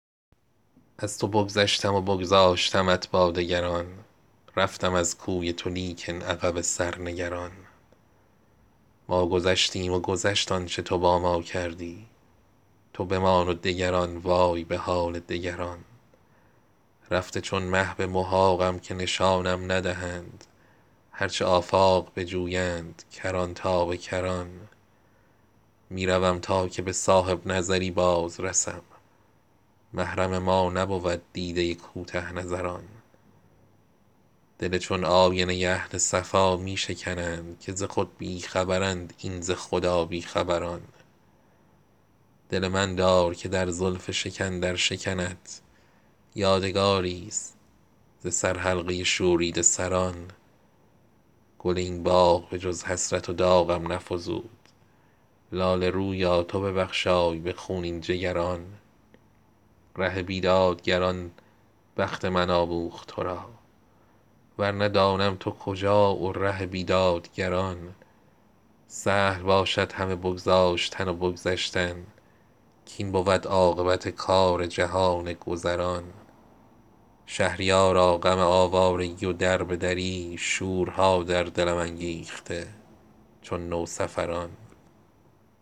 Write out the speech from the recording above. از تو بگذشتم و بگذاشتمت با دگران رفتم از کوی تو لیکن عقب سر نگران ما گذشتیم و گذشت آنچه تو با ما کردی تو بمان و دگران وای به حال دگران رفته چون مه به محاقم که نشانم ندهند هرچه آفاق بجویند کران تا به کران می روم تا که به صاحب نظری بازرسم محرم ما نبود دیده کوته نظران دل چون آینه اهل صفا می شکنند که ز خود بی خبرند این ز خدا بی خبران دل من دار که در زلف شکن در شکنت یادگاریست ز سرحلقه شوریده سران گل این باغ به جز حسرت و داغم نفزود لاله رویا تو ببخشای به خونین جگران ره بیدادگران بخت من آموخت ترا ورنه دانم تو کجا و ره بیدادگران سهل باشد همه بگذاشتن و بگذشتن کاین بود عاقبت کار جهان گذران شهریارا غم آوارگی و دربه دری شورها در دلم انگیخته چون نوسفران